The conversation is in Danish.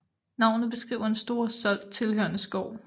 Navnet beskriver en Store Solt tilhørende skov